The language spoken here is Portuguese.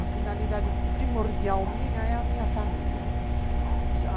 A finalidade primordial minha é a minha família.